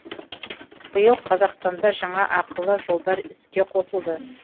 биыл қазақстанда жаңа ақылы жолдар іске қосылды